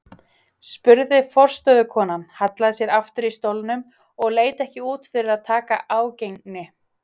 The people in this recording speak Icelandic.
spurði forstöðukonan, hallaði sér aftur í stólnum og leit ekki út fyrir að taka ágengni